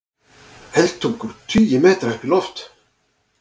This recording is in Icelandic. Eldtungur tugi metra upp í loft